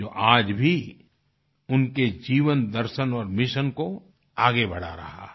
जो आज भी उनके जीवन दर्शन और मिशन को आगे बढ़ा रहा है